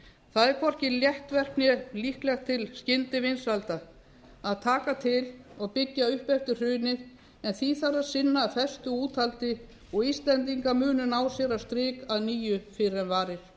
það er hvorki létt verk né líklegt til skyndivinsælda að taka til og byggja upp eftir hrunið en því þarf að sinna af festu og úthaldi og íslendingar munu ná sér á strik að nýju fyrr en varir